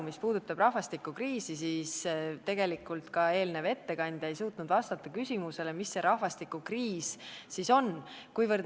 Mis puudutab rahvastikukriisi, siis ka eelnev ettekandja ei suutnud vastata küsimusele, mis see rahvastikukriis siis on.